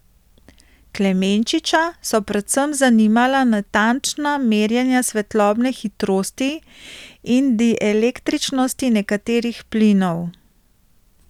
Klemenčiča so predvsem zanimala natančna merjenja svetlobne hitrosti in dielektričnosti nekaterih plinov.